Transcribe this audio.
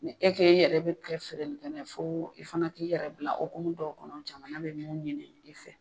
e ke e yɛrɛ bɛ kɛ feerelikɛla fo i fana k'i yɛrɛ bila hukumu dɔw kɔnɔ jama bɛ mun ɲini i fɛ.